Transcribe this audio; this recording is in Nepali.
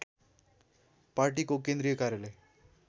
पार्टीको केन्द्रीय कार्यालय